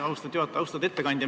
Austatud ettekandja!